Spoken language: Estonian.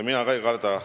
Mina ka ei karda.